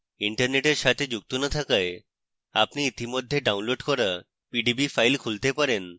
internet সাথে যুক্ত না থাকায় আপনি ইতিমধ্যে ডাউনলোড করা pdb file খুলতে পারেন